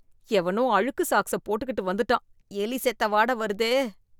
எவனோ அழுக்கு சாக்ஸ போட்டுக்கிட்டு வந்துட்டான், எலி செத்த வாட வருதே.